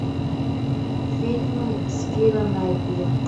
фильмы с кира найтли